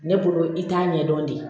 Ne bolo i t'a ɲɛdɔn de